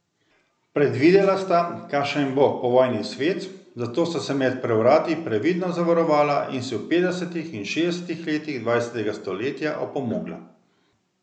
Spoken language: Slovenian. Predvidela sta, kakšen bo povojni svet, zato sta se med prevrati previdno zavarovala in si v petdesetih in šestdesetih letih dvajsetega stoletja opomogla.